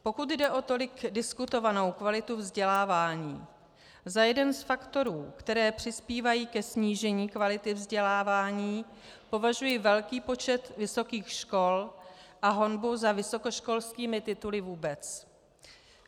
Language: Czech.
Pokud jde o tolik diskutovanou kvalitu vzdělávání, za jeden z faktorů, které přispívají ke snížení kvality vzdělávání, považuji velký počet vysokých škol a honbu za vysokoškolskými tituly vůbec.